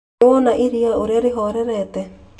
Nĩwona iria urĩa rĩhorerete